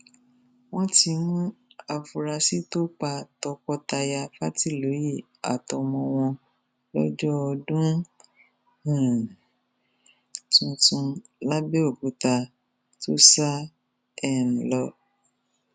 wọn ti mú àfúrásì tó pa tọkọtaya fàtitọyé àtọmọ wọn lọjọ ọdún um tuntun labẹọkútà tó sá um lọ